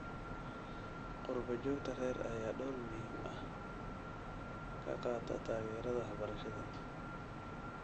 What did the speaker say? Qurba-joogta rer ayaa door muhiim ah ka qaata taageerada waxbarashada.